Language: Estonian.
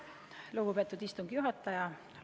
Lugupeetud istungi juhataja!